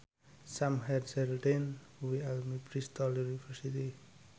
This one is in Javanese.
Sam Hazeldine kuwi alumni Bristol university